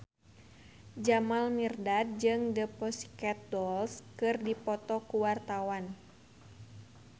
Jamal Mirdad jeung The Pussycat Dolls keur dipoto ku wartawan